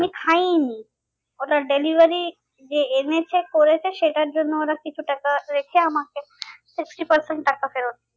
খাইনি order delivery যে এনেছে করেছে সেটার জন্য ওরা কিছু টাকা রেখে আমাকে sixty percent টাকা ফেরত দিয়েছে।